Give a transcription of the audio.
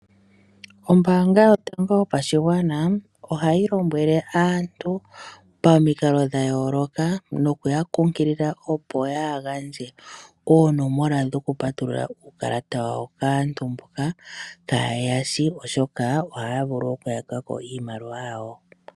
Ombaanga yotango yopashigwana ohayi lombwele aantu pomikalo dhayooloka nokuya kunkilila opo kaya gandje oonomola dhokupatulula uukalata wawo kaantu mboka kaye ya shi oshoka ohaya vulu okuyaka ko iimaliwa yawo.